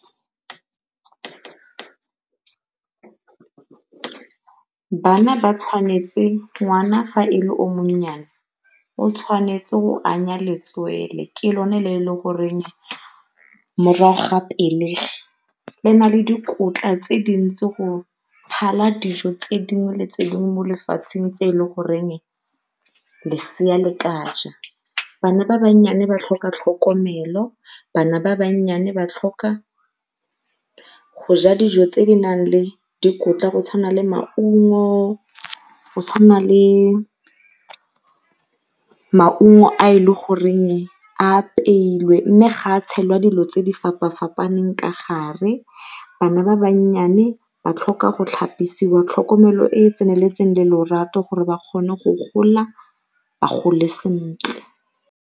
bana ba tshwanetse ngwana fa e le o mo o tshwanetse go anya letswele ke lone le e le goreng morago ga pelegi le na le dikotla tse dintsi go phala dijo tse dingwe le tse dingwe mo lefatsheng tse e le goreng lesea le ka ja. Bana ba ba tlhoka tlhokomelo, bana ba ba tlhoka go ja dijo tse di nang le dikotla go tshwana le dijo tse di nang le maungo go tshwana le maungo a e le goreng a apeilwe mme gape a tshelwa dilo tse di fapafapaneng ka gare. Bana ba ba tlhoka go tlhapisiwa, tlhokomelo e e tseneletseng le lorato gore ba kgone go gola ba gole sentle